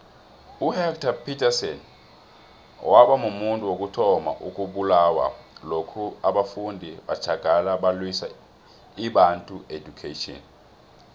uhector petrson wabamuntu wokuthoma owabulawa lokha abafundi batjagala abalwisa ibantu education